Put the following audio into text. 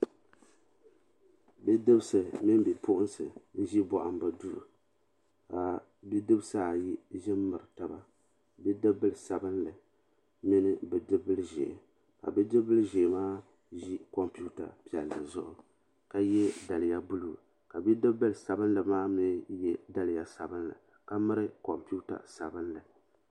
Bi'dibsi mini bipuɣinsi m be bohambu duu ka bidibisi ayi ʒi m baɣa taba bidibila sabinli ni bidibila ʒee ka bidibila ʒee maa ʒi kompita zuɣu ka ye daliya buluu ka bidibila sabinli maa ye daliya sabinli ka miri kompita sabinli.